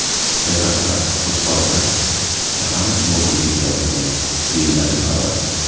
Jasadlar Qo‘chqor-Ota shahar morgiga yetkazilgan”, deyiladi xabarda.